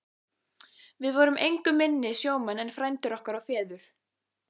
Við vorum engu minni sjómenn en frændur okkar og feður.